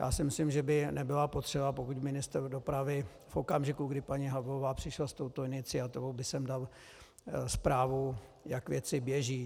Já si myslím, že by nebyla potřeba, pokud ministr dopravy v okamžiku, kdy paní Havlová přišla s touto iniciativou, by sem dal zprávu, jak věci běží.